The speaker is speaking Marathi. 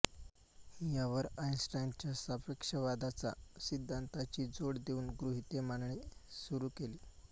यावर आइनस्टाइनच्या सापेक्षतावादाचा सिद्धांताची जोड देऊन गृहिते मांडणे सुरू केले